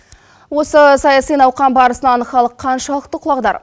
осы саяси науқан барысынан халық қаншалықты құлағдар